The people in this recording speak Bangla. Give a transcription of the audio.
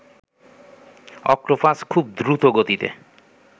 অক্টোপাস খুব দ্রুত গতিতে